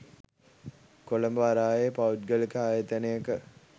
කොළඹ වරායේ පෞද්ගලික ආයතනයක